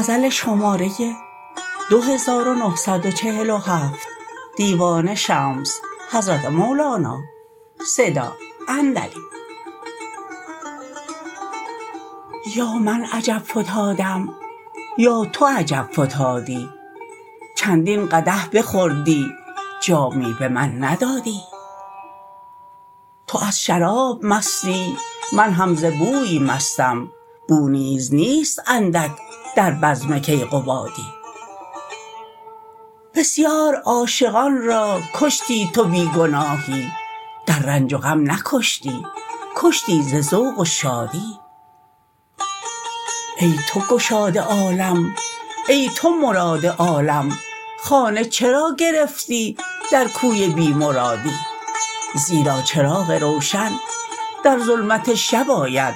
یا من عجب فتادم یا تو عجب فتادی چندین قدح بخوردی جامی به من ندادی تو از شراب مستی من هم ز بوی مستم بو نیز نیست اندک در بزم کیقبادی بسیار عاشقان را کشتی تو بی گناهی در رنج و غم نکشتی کشتی ز ذوق و شادی ای تو گشاد عالم ای تو مراد آدم خانه چرا گرفتی در کوی بی مرادی زیرا چراغ روشن در ظلمت شب آید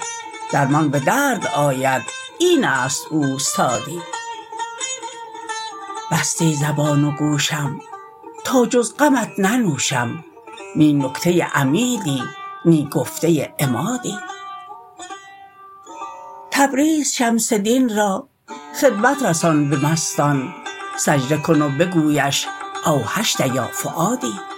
درمان به درد آید این است اوستادی بستی زبان و گوشم تا جز غمت ننوشم نی نکته عمیدی نی گفته عمادی تبریز شمس دین را خدمت رسان ز مستان سجده کن و بگویش اوحشت یا فؤادی